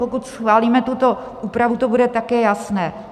Pokud schválíme tuto úpravu, to bude také jasné.